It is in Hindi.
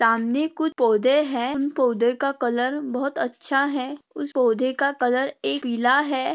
सामने कुछ पौधे हैं। उन पौधों का कलर बहुत अच्छा है। उस पौधे का कलर एक पीला है।